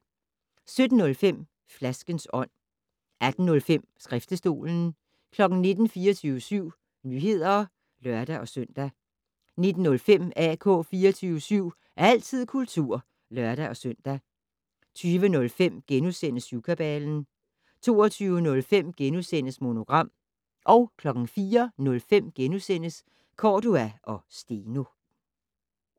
17:05: Flaskens ånd 18:05: Skriftestolen 19:00: 24syv Nyheder (lør-søn) 19:05: AK 24syv - altid kultur (lør-søn) 20:05: Syvkabalen * 22:05: Monogram * 04:05: Cordua & Steno *